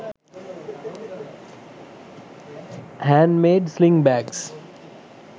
handmade sling bags